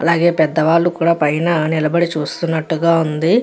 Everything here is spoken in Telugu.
అలాగే పెద్దవారు కూడ పైన నిలబడి చూస్తూ వున్నట్టుగా వుంది.